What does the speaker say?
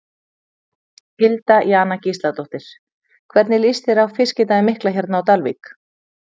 Hilda Jana Gísladóttir: Hvernig líst þér á Fiskidaginn mikla hérna á Dalvík?